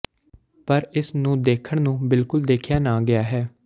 ਪਰ ਇਸ ਨੂੰ ਦੇਖਣ ਨੂੰ ਬਿਲਕੁਲ ਦੇਖਿਆ ਨਾ ਗਿਆ ਹੈ